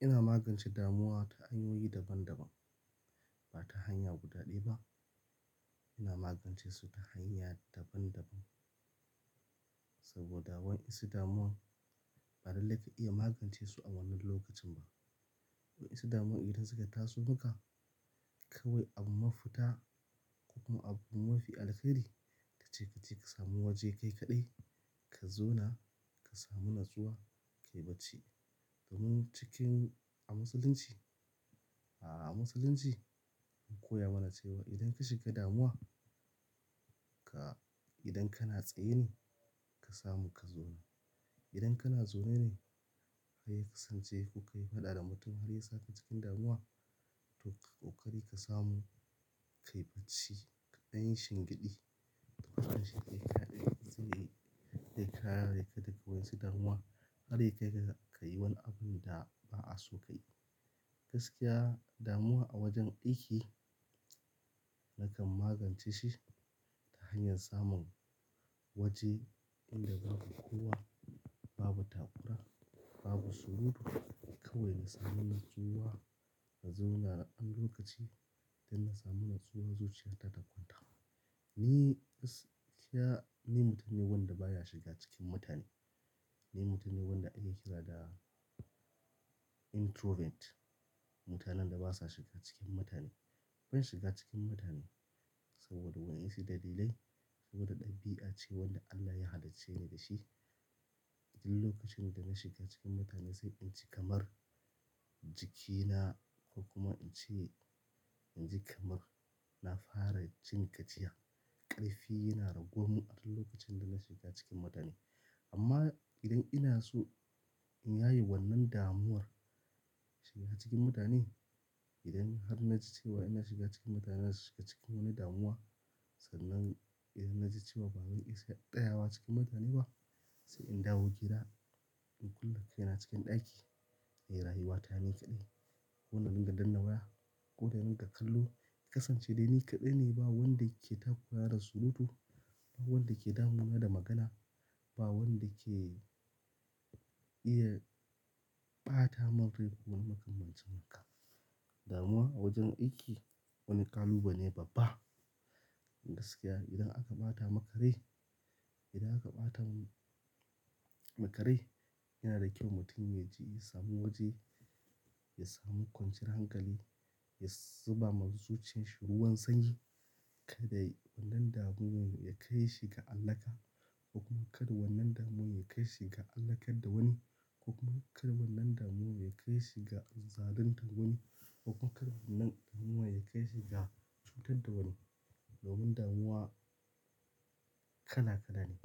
Ina magance damuwa ta hanyoyi daban-daban, ba ta hanya guda ɗaya ba. Ina magance su ta hanya daban-daban. Saboda wa'ensu damuwan ba lallai ka iya magance su a wannan lokacin ba. Wa'ensu damuwan idan suka taso maka kawai abu mafita ko kuma abu mafi alkari ace kaje ka samu waje kai kaɗai ka zauna ka samu natsuwa kai bacci. Domin cikin a musulunci, a musulunci an koya mana cewa idan ka shiga damuwa ka, idan kana tsaye ne ka samu ka zauna. Idan kana zaune ne har ya kasance kuka yi faɗa da mutum har ya saka cikin damuwa to ka ƙoƙari ka samu ka yi bacci kaɗanyi shingeɗi. To kaɗan shingeɗi ne shine zai kare ka da ga wa su damuwa har ya kai ga ka yi wani abun da ba'a so ka yi. Gaskiya damuwa a wajen aiki nakan magance shi ta hanyar samun waje inda babu kowa, babu takura, babu surutu kawai na samu natsuwa na zauna har lokaci da na samu natsuwa zuciya ta takwanta. Ni gaskiya ni mutum ne wanda baya shiga cikin mutane. Ni mutum ne wanda ake kira da introvert. Mutanen da basa shiga cikin mutane. Ban shiga cikin mutane saboda wasu dalilai saboda ɗabi'a ce wadda Allah ya hallicce ni da shi. Duk lokacin da na shiga cikin mutane sai in ji kamar jikina ko kuma in ce in ji kamar na fara jin gajiya. Karfi yana raguwar mun a duk lokacin da na shiga cikin mutane. Amma idan ina so in yaye wannan damuwar shiga cikin mutane, idan har na ji cewa ina shiga cikin mutane na shiga cikin wani damuwa sannan idan na ji cewa babu iska ɗaya a wa cikin mutane ba sai in dawo gida in kulle kaina cikin ɗaki. Nayi rayuwata ni kaɗai. Kona ga dunga danna waya ko na runga kallo kasance de ni kaɗai ne ba wanda yake takurani da surutu, ba wanda yake damuna da magana, ba wanda ke iya ɓata min ko wani makamancin haka. Damuwa a wajen aiki wani kalubale ne babba. Inda gaskiya idan aka ɓata makare, idan aka ɓata makare yana da kyau mutum ya ji ya samu waje, ya samu kwanciyar hankali, ya zuba wa zuciyar shi ruwan sanyi. Ka dai wannan damuwar ya kai shi ga allahka ko kuma kar wannan damuwar ya kai shi ga allahkar da wani ko kuma kar wannan damuwar ya kai shi ga zaluntar da wani ko kuma kar wannan damuwar ya kai shi ga cutar da wani. Domin damuwa kala kala ne.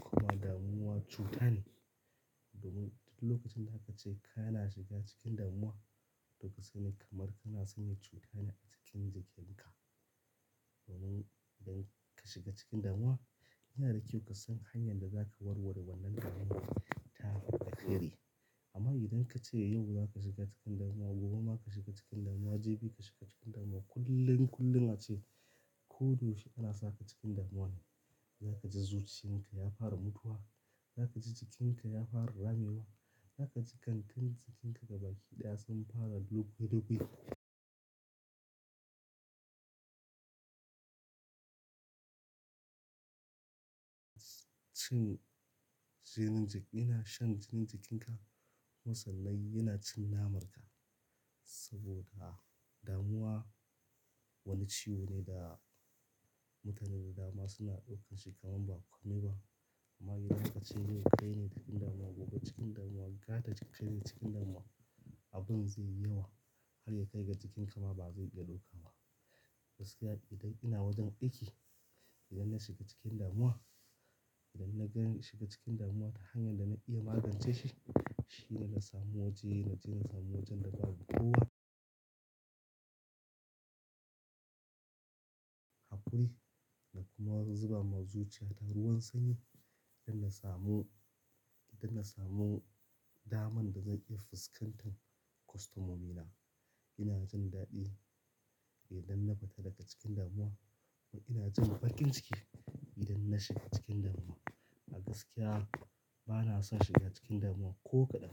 Kuma damuwa cuta ne. Domin duk lokacin da aka ce kana shiga cikin damuwa to kasai ni kamar kana sanya cutane a cikin jikin ka. Domin idan ka shiga cikin damuwa yana da kyau ka san hanyar da zaka warware wannan damuwar ta fi alheri. Amma idan ka ce yau za ka shiga cikin damuwa, gobe ma ka shiga cikin damuwa, jibi ka shiga cikin damuwa kullum kullum ace ko dayau she ana saka cikin damuwa ne. Za ka ji zuciyan ka ya fara mutuwa. Za ka ji jikinka ya fara ramewa. Za ka ji gangan jikinka gaba ki ɗaya sun fara low dukwi. Cin jinin jiki, yana shan jinin jikinka. Musamman yana cin naman ka. Saboda damuwa wani ciwo ne da mutanen dama suna ɗaukan shi kamar ba kome ba. Amma idan ka ce yau ka yi ni cikin damuwa, gobe cikin damuwa, gata cikin damuwa abun zai yi yawa. Har ya kai ga jikinka ma ba zai iya ɗauka ba. Gaskiya idan ina wajen aiki idan na shiga cikin damuwa, idan naga zan shiga cikin damuwa ta hanyar da zan iya magance shi, shine na samu waje na je na samu wajen da babu kowa. Hakuri na kuma zuba ma zuciya ta ruwan sanyi don na samu, don na samu daman da zan iya fuskantar kostomomi na. Ina jin daɗi idan na fita daga cikin damuwa kuma ina jin baƙin ciki idan na shiga cikin damuwa. A gaskiya bana son shiga cikin damuwa ko kaɗan.